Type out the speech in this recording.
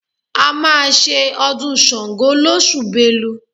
A máa ṣe ọdún Ṣàngó lóṣù Belu